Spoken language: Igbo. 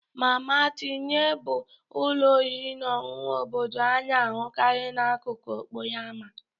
Mama tinye bụ ụlọ oriri na ọṅụṅụ obodo a na-ahụkarị n'akụkụ okporo ámá.